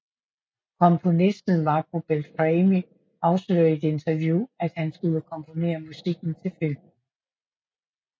Komponisten Marco Beltrami afslørede i et interview at han skulle komponere musikken til filmen